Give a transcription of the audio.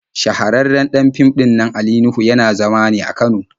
Shahararren ɗan fim ɗinnan Ali Nuhu yana zama ne a Kano.